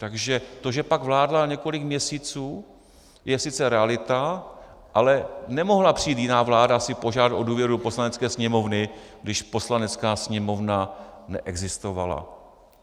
Takže to, že pak vládla několik měsíců, je sice realita, ale nemohla přijít jiná vláda si požádat o důvěru Poslanecké sněmovny, když Poslanecká sněmovna neexistovala.